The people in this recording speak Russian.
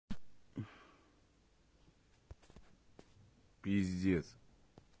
пиздец